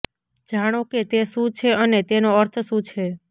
જાણો કે તે શું છે અને તેનો અર્થ શું છે